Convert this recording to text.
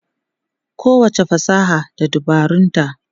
Kowacce fasaha da dabarunta.